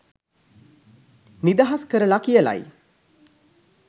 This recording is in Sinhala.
නිදහස්‌ කරලා කියලයි.